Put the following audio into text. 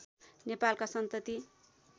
नेपालका सन्तति